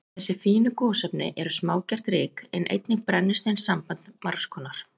Þessi fínu gosefni eru smágert ryk, en einnig brennisteinssambönd margs konar.